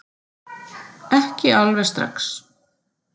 Ekki alveg strax